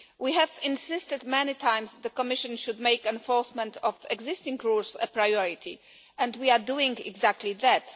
We have insisted many times that the Commission should make enforcement of existing rules a priority, and we are doing exactly that.